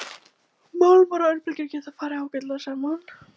Málmar og örbylgjur geta farið ágætlega saman.